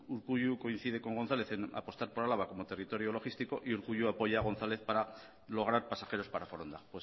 urkullu coincide con gonzález en apostar por álava como territorio logístico y urkullu apoya a gonzález para lograr pasajeros para foronda